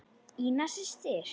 Ína systir.